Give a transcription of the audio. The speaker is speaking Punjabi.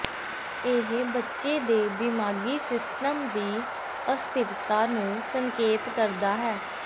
ਇਹ ਬੱਚੇ ਦੇ ਦਿਮਾਗੀ ਸਿਸਟਮ ਦੀ ਅਸਥਿਰਤਾ ਨੂੰ ਸੰਕੇਤ ਕਰਦਾ ਹੈ